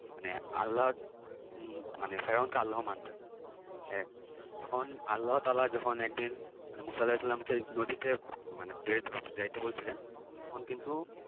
মানে আল্লাহর উম মানে ফেরাউনকে আল্লাহ মানতেন হ্যাঁ তখন আল্লাহতাআলা যখন একদিন মুসা আলাহিসাল্লামকে নদীতে মানে যাইতে বলছিলেন তখন কিন্তু